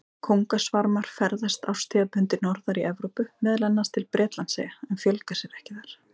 Kóngasvarmar ferðast árstíðabundið norðar í Evrópu, meðal annars til Bretlandseyja, en fjölga sér þar ekki.